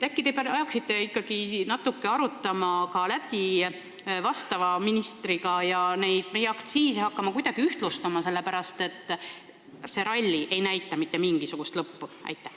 Äkki te peaksite seda natukene arutama ka Läti vastava ministriga ja hakkama neid aktsiise kuidagi ühtlustama, sellepärast et sellel rallil ei näi mitte mingisugust lõppu tulevat?